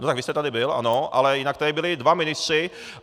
No tak vy jste tady byl, ano, ale jinak tady byli dva ministři.